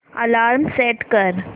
alarm set कर